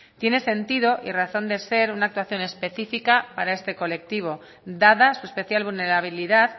tiene sentido y razón de ser una actuación específica para este colectivo dada su especial vulnerabilidad